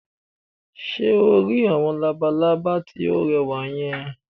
Ṣé o rí àwọn labalábá tí ó rẹwà yẹn?